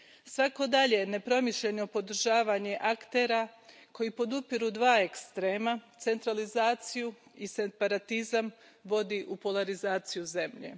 Svako dalje nepromišljeno podržavanje aktera koji podupiru dva ekstrema, centralizaciju i separatizam, vodi u polarizaciju zemlje.